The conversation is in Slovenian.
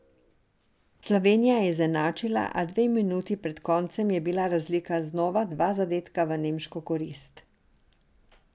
Slovenija je izenačila, a dve minuti pred koncem je bila razlika znova dva zadetka v nemško korist.